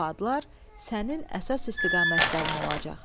Bu adlar sənin əsas istiqamətlərin olacaq.